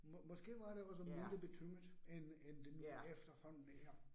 Måske var det også mindre betynget, end end det nu efterhånden er